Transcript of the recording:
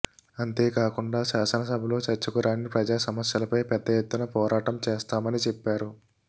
అంతే కాకుండా శాసనసభలో చర్చకు రాని ప్రజాసమస్యలపై పెద్దఎత్తున పోరాటం చేస్తామని చెప్పారు